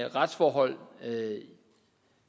retsforhold